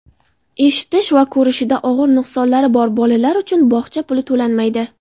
eshitish va ko‘rishida og‘ir nuqsonlari bor bolalar uchun bog‘cha puli to‘lanmaydi.